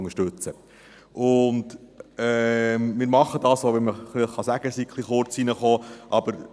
Wir machen das, auch wenn man sagen kann, er sei etwas kurzfristig hereingekommen.